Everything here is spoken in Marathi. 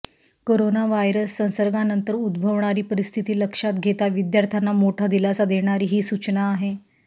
करोना व्हायरस संसर्गानंतर उद्भवणारी परिस्थिती लक्षात घेता विद्यार्थ्यांना मोठा दिलासा देणारी ही सूचना आहे